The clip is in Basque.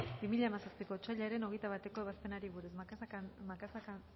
bi mila hamazazpiko otsailaren hogeita bateko ebazpenari buruz macazaga